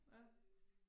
Ja